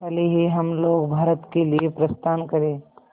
कल ही हम लोग भारत के लिए प्रस्थान करें